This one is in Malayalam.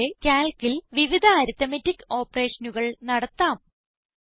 ഇത് പോലെ Calcൽ വിവിധ അരിത്മെറ്റിക് operationകൾ നടത്താം